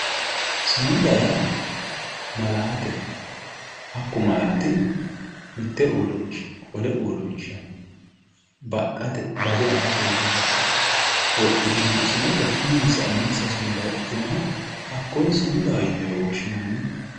Sumuda yaa malaateho hakku malaatino mitte uurinshshaha wole uurrinshanni baxxate bade afate yite ka'e wodhitino sumuda uminsa uminsa sumuda wodhitinoha kakkoye sumudaho time woshshitanno.